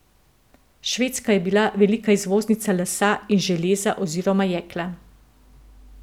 Švedska je bila velika izvoznica lesa in železa oziroma jekla.